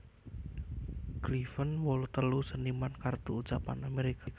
Cleven wolu telu seniman kartu ucapan Amerika